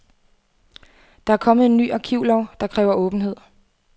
Der er kommet en ny arkivlov, der kræver åbenhed.